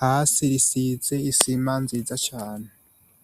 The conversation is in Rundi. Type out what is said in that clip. hasi risize isima nziza cane.